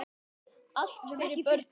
Allt fyrir börnin.